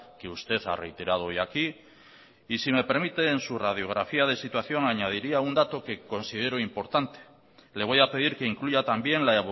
que usted ha reiterado hoy aquí y si me permite en su radiografía de situación añadiría un dato que considero importante le voy a pedir que incluya también la